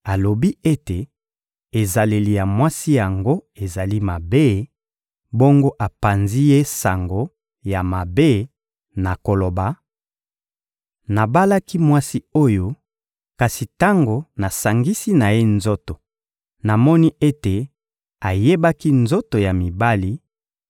alobi ete ezaleli ya mwasi yango ezali mabe, bongo apanzi ye sango ya mabe na koloba: «Nabalaki mwasi oyo, kasi tango nasangisi na ye nzoto, namoni ete ayebaki nzoto ya mibali,»